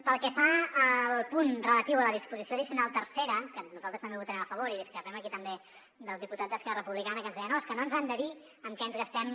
pel que fa al punt relatiu a la disposició addicional tercera que nosaltres també hi votarem a favor discrepem aquí també del diputat d’esquerra republicana que ens deia no és que no ens han de dir en què ens gastem